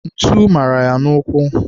ntu mara ya n'ụkwụ